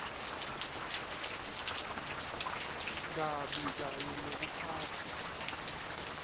kabi kanye nekuphatfwa